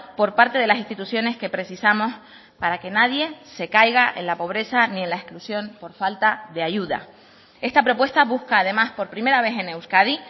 por parte de las instituciones que precisamos para que nadie se caiga en la pobreza ni en la exclusión por falta de ayuda esta propuesta busca además por primera vez en euskadi